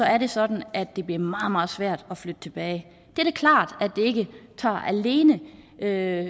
er det sådan at det bliver meget meget svært at flytte tilbage det er da klart at det ikke alene er